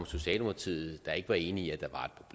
socialdemokratiet var enige